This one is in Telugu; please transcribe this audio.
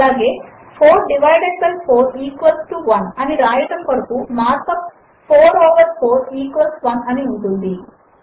అలాగే 4 డివైడెడ్ బై 4 ఈక్వల్స్ 1 అని వ్రాయడము కొరకు మార్క్ యూపీ 4 ఓవర్ 4 ఈక్వల్స్ 1 అని ఉంటుంది